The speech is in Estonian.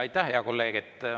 Aitäh, hea kolleeg!